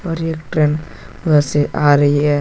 और एक ट्रेन उधर से आ रही है।